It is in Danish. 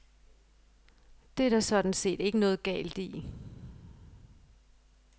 Det er der sådan set ikke noget galt i.